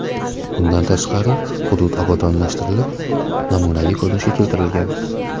Bundan tashqari hudud obodonlashtirilib, namunaviy ko‘rinishga keltirilgan.